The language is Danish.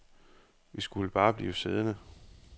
Vi skulle bare blive siddende.